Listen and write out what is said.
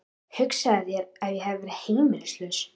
Hugsaðu þér ef ég hefði verið heimilislaus.